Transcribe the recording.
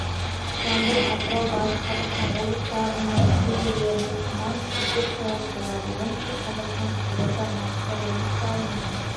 жамбыл атырау батыс қазақстан облыстарының кей жерлерінде тұман түсіп көктайғақ болады оңтүстік қазақстан қызылорда маңғыстау облыстарының